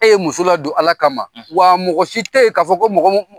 E ye muso ladon ala kama wa mɔgɔ si tɛ yen k'a fɔ ko mɔgɔ